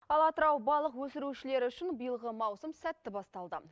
ал атырау балық өсірушілері үшін биылғы маусым сәтті басталды